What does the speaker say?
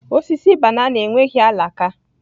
Osisi banana enweghị alaka